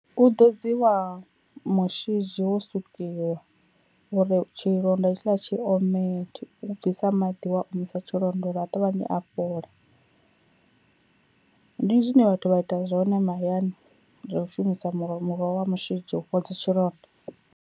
U ḓodziwa mushidzhi wo sukiwa uri tshilonda hetshiḽa tshi ome, tshi u bvisa maḓi wa omisa tshilonda uri a ṱavhanye a fhola, ndi zwine vhathu vha ita zwone mahayani zwa u shumisa muroho muroho wa mushidzhi u fhodza tshilonda.